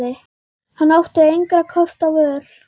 Hann átti engra kosta völ.